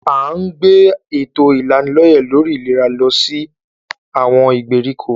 À ń gbé èto ìlanilọ́yẹ̀ lórí ìlera lọ sí àwọn ìgbèríko.